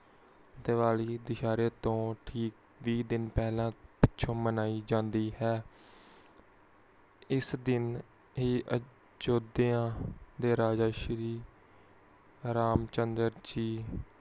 ਦੀਵਾਲੀ ਦਹਸ਼ਰੇ ਤੋਂ ਠੀਕ ਬੀਹ ਦਿਨ ਪਹਿਲਾ ਪਿੱਛੋਂ ਮਨਾਇ ਜਾਂਦੀ ਹੈ ਉਸ ਦਿਨ ਹੀ ਅਯੁੱਧਿਆ ਦੇ ਰਾਜਾ ਸ਼੍ਰੀ ਰਾਮ ਚੰਦਰ ਜੀ